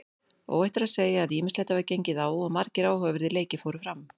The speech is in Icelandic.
Óhætt er að segja að ýmislegt hafi gengið á og margir áhugaverðir leikir fóru fram.